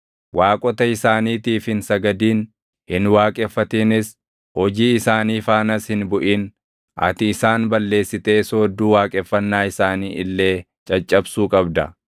Waaqota isaaniitiif hin sagadin; hin waaqeffatinis; hojii isaanii faanas hin buʼin. Ati isaan balleessitee soodduu waaqeffannaa isaanii illee caccabsuu qabda.